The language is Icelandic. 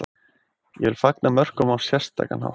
Ég vil fagna mörkum á sérstakan hátt.